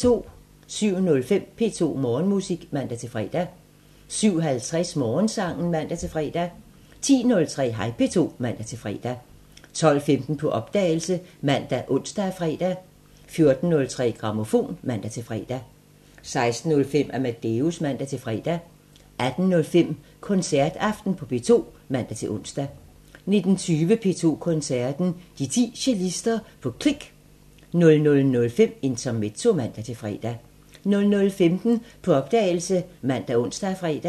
07:05: P2 Morgenmusik (man-fre) 07:50: Morgensangen (man-fre) 10:03: Hej P2 (man-fre) 12:15: På opdagelse ( man, ons, fre) 14:03: Grammofon (man-fre) 16:05: Amadeus (man-fre) 18:05: Koncertaften på P2 (man-ons) 19:20: P2 Koncerten – De 10 cellister på Click 00:05: Intermezzo (man-fre) 00:15: På opdagelse ( man, ons, fre)